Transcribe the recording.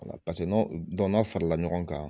Paseke n'aw dɔnku n'aw fara la ɲɔgɔn kan